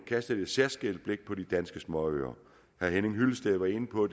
kastet et særskilt blik på de danske småøer herre henning hyllested var inde på